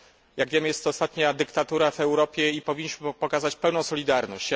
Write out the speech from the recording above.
Jak wiemy, jest to ostatnia dyktatura w Europie i powinniśmy pokazać pełną solidarność.